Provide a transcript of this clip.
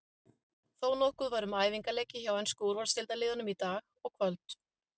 Þónokkuð var um æfingaleiki hjá enskum úrvalsdeildarliðum í dag og kvöld.